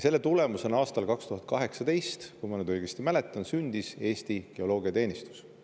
Selle tulemusena aastal 2018, kui ma nüüd õigesti mäletan, sündis Eesti Geoloogiateenistus.